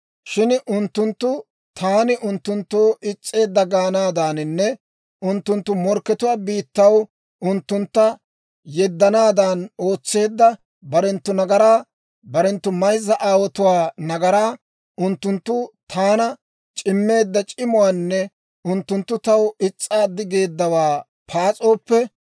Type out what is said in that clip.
«Shin unttunttu taani unttunttoo is's'eedda gaanaadaaninne unttunttu morkkatuwaa biittaw unttuntta yeddanaadan ootseedda barenttu nagaraa, barenttu mayza aawotuwaa nagaraa, unttunttu taana c'immeedda c'imuwaanne unttunttu taw is's'aaddi geeddawaa paas'ooppe,